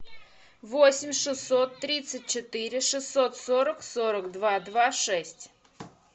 восемь шестьсот тридцать четыре шестьсот сорок сорок два два шесть